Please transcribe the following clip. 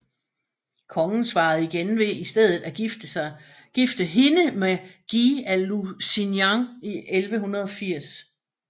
Kongen svarede igen ved i stedet at gifte hende med Guy af Lusignan i 1180